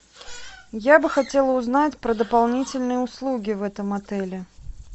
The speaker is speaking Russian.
я бы хотела узнать про дополнительные услуги в этом отеле